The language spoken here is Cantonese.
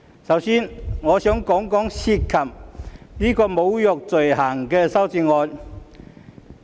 首先，我想談談涉及侮辱罪行的修正案。